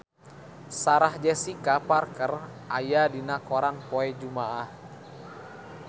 Sarah Jessica Parker aya dina koran poe Jumaah